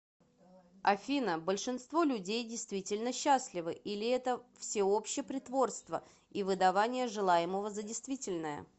афина большинство людей действительно счастливы или это всеобщее притворство и выдавание желаемого за действительное